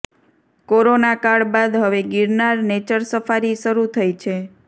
કોરોનાકાળ બાદ હવે Girnar nature safari શરૂ થઈ છે